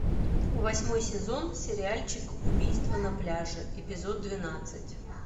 восьмой сезон сериальчик убийство на пляже эпизод двенадцать